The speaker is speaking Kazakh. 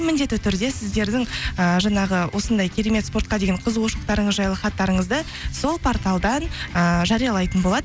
міндетті түрде сіздердің ыыы жаңағы осындай керемет спортқа деген қызығушылықтарыңыз жайлы хаттарыңызды сол порталдан ыыы жариялайтын болады